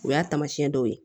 O y'a taamasiyɛn dɔw ye